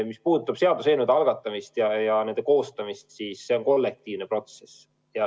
Mis puudutab seaduseelnõude algatamist ja nende koostamist, siis see on kollektiivne protsess.